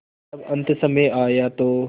जब अन्तसमय आया तो